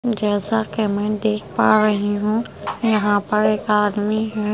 जैसा कि मैं देख पा रही हूँ यहाँ पर एक आदमी है ।